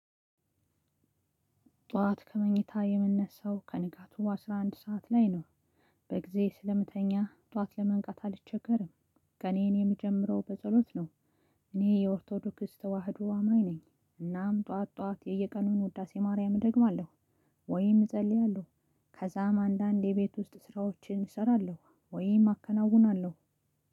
ጠዋት ከመኝታ የምንነሳው ከንጋቱ በአስራ አንድ ሰዓት ላይ ነው። በጊዜ ስለምተኛ ጠዋት ለመንቃት አልቸገርም። ቀኔን የምጀምረው በጸሎት ነው። እኔ የኦርቶዶክስ ተዋህዶ አማኝ ነኝ። እናም ጠዋት ጠዋት በየቀኑ ውዳሴ ማርያም እደግማለሁ። ወይም እጸልያለሁ። ከዛም አንዳንዴ የቤት ውስጥ ስራዎችን እሰራለሁ ወይ አከናውናለሁ።